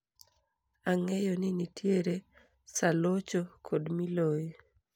Angeyo ni nitiere saa locho kod miloyi